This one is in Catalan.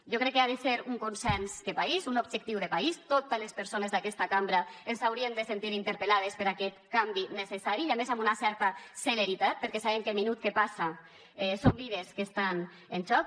jo crec que ha de ser un consens de país un objectiu de país totes les persones d’aquesta cambra ens hauríem de sentir interpel·lades per aquest canvi necessari i a més amb una certa celeritat perquè sabem que cada minut que passa són vides que estan en joc